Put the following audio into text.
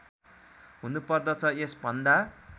हुनु पर्दछ यसभन्दा